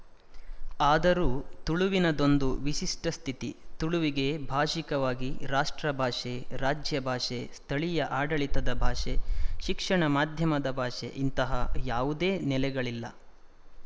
ಆದರೂ ತುಳುವಿನದೊಂದು ವಿಶಿಷ್ಟ ಸ್ಥಿತಿ ತುಳುವಿಗೆ ಭಾಶಿಕವಾಗಿ ರಾಷ್ಟ್ರ ಭಾಷೆ ರಾಜ್ಯ ಭಾಷೆ ಸ್ಥಳೀಯ ಆಡಳಿತದ ಭಾಷೆ ಶಿಕ್ಷಣ ಮಾಧ್ಯಮದ ಭಾಷೆ ಇಂತಹಾ ಯಾವುದೇ ನೆಲೆಗಳಿಲ್ಲ